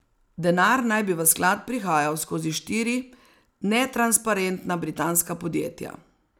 Denar naj bi v sklad prihajal skozi štiri netransparentna britanska podjetja.